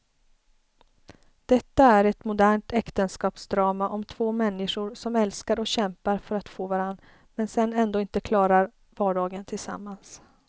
Detta är ett modernt äktenskapsdrama om två människor som älskar och kämpar för att få varann men sedan ändå inte klarar vardagen tillsammans.